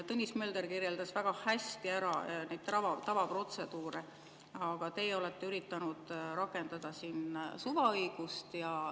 Tõnis Mölder kirjeldas väga hästi neid tavaprotseduure, aga teie olete üritanud rakendada siin suvaõigust.